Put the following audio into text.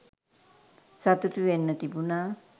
සතුටු වෙන්න තිබුණා